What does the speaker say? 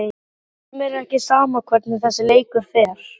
Hverjum er ekki sama hvernig þessi leikur fer?